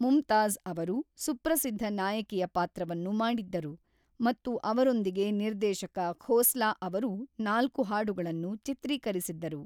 ಮುಮ್ತಾಜ್ ಅವರು ಸುಪ್ರಸಿದ್ಧ ನಾಯಕಿಯ ಪಾತ್ರವನ್ನು ಮಾಡಿದ್ದರು ಮತ್ತು ಅವರೊಂದಿಗೆ ನಿರ್ದೇಶಕ ಖೋಸ್ಲಾ ಅವರು ನಾಲ್ಕು ಹಾಡುಗಳನ್ನು ಚಿತ್ರೀಕರಿಸಿದ್ದರು.